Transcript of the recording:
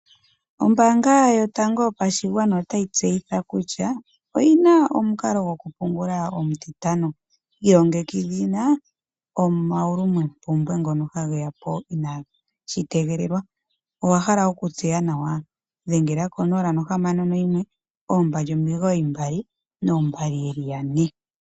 Ombaanga yotango yopashigwana otayi tseyitha kutya oyina omukalo gokupungula omutitano. Ilongekidhila omaulumompumbwe ngono ha ge ya po inaashi tegelelwa. Owa hala okutseya nawa? Dhengela 061 2992222.